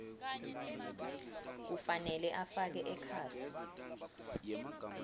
kufanele afake ekhatsi